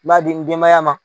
N b'a di n denmaya ma.